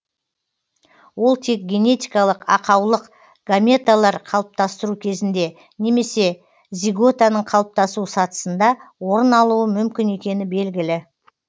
ол тек генетикалық ақаулық гаметалар қалыптастыру кезінде немесе зиготаның қалыптасу сатысында орын алуы мүмкін екені белгілі